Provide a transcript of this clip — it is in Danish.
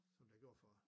Som der gjorde for